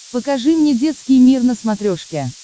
покажи мне детский мир на смотрешке